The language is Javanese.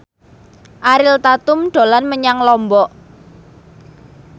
Ariel Tatum dolan menyang Lombok